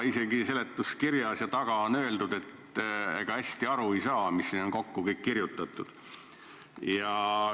Isegi seletuskirjas ja siin tabelis on öeldud, et ega hästi aru ei saa, mis siia on kõik kokku kirjutatud.